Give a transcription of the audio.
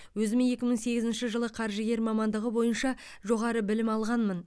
өзіме екі мың сегізінші жылы қаржыгер мамандығы бойынша жоғары білім алғанмын